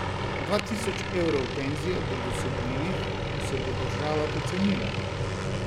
Dva tisoč evrov penzije bo dosegljivih, ko se bo država pocenila.